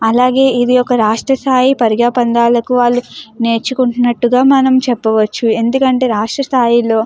అలాగే ఇది ఒక రాష్ట్ర స్థాయి పరుగ పందాలకు వాళ్ళు నేర్చుకుంటున్నటుగా మనం చెప్పవచు ఎందుకంటే రాష్ట్ర స్థాయిలో --